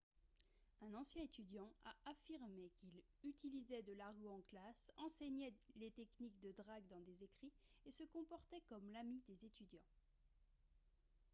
un ancien étudiant a affirmé qu’il « utilisait de l’argot en classe enseignait les techniques de drague dans des écrits et se comportait comme l’ami des étudiants »